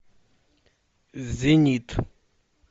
зенит